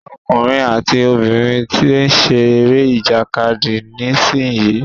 Ọkùnrin àti obìnrin tí ń ṣe eré ìjàkadì nísìyí.